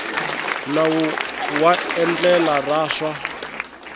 nawu wa endlele ra swa